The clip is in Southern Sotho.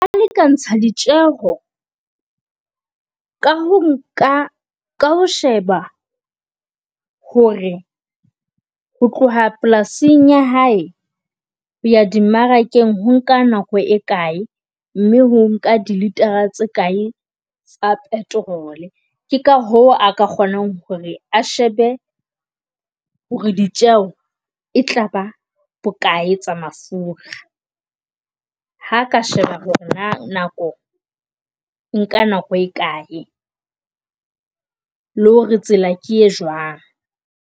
A lekantse ditjeho ka ho nka ka ho sheba hore ho tloha polasing ya hae ho ya di mmarakeng ho nka nako e kae. Mme ho nka di liter tse kae tsa petrol ke ka ho a ka kgonang hore a shebe hore ditjeho e tlaba bokae tsa mafura. Ha ka sheba hore na nako o nka nako e kae, le hore tsela ke e jwang.